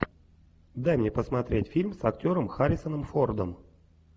дай мне посмотреть фильм с актером харрисоном фордом